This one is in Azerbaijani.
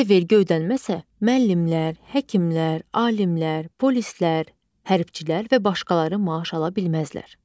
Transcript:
Əgər vergi ödənməsə müəllimlər, həkimlər, alimlər, polislər, hərbçilər və başqaları maaş ala bilməzlər.